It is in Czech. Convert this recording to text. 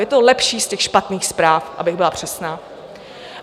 Je to lepší z těch špatných zpráv, abych byla přesná.